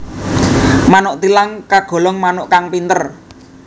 Manuk thilang kagolong manuk kang pinter